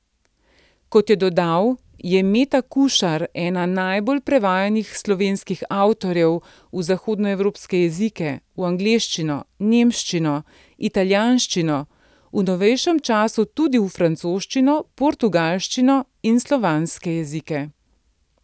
Kot je dodal, je Meta Kušar ena najbolj prevajanih slovenskih avtorjev v zahodnoevropske jezike, v angleščino, nemščino, italijanščino, v novejšem času tudi v francoščino, portugalščino in slovanske v jezike.